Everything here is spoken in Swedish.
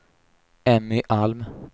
Emmy Alm